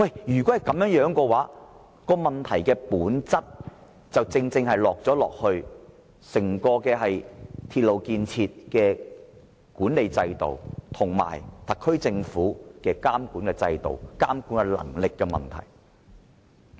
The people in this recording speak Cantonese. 如他們所說屬實，問題本身正正在於整個鐵路建設的管理制度及特區政府的監管制度，涉及監管能力的問題。